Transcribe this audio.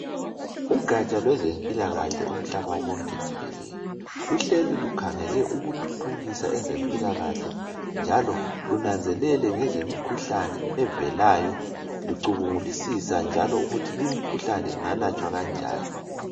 Ugatsha lwezempilakahle umhlaba wonke jikelele, luhleli lukhangele ukuthuthukisa ezempilakahle njalo lunanzelele ngezemikhuhlane evelayo lucubungulisisa njalo ukuthi limi khuhlane ingalatshwa kanjani.